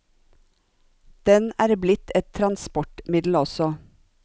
Den er blitt et transportmiddel også.